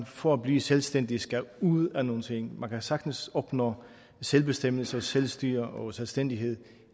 for at blive selvstændig skal ud af nogen ting man kan sagtens opnå selvbestemmelse og selvstyre og selvstændighed